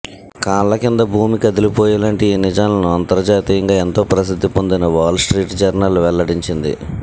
కాళ్ల కింద భూమి కదిలిపోయేలాంటి ఈ నిజాలను అంతర్జాతీయంగా ఎంతో ప్రసిద్ధి పొందిన వాల్ స్ట్రీట్ జర్నల్ వెల్లడించింది